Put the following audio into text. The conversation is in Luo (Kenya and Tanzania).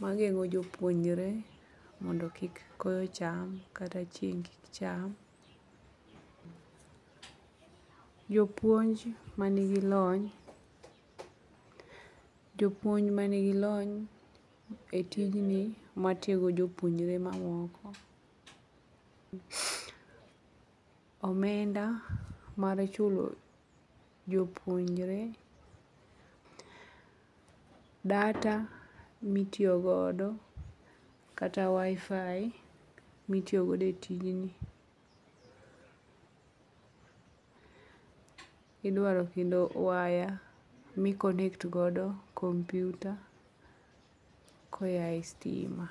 mageng'o jopuonjre mondo kik koyo cham kata cheing' cham ,Jopuonj manigi lony, jopuonj manigi lony e tijni matiego jopuonjre mamoko, omenda mar chulo jopuonjre, data mitiyo godo kata WI-FI mitiyo god e tijni. Idwaro kendo waya godo kompyuta koya e stima.